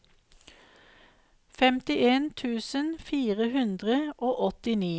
femtien tusen fire hundre og åttini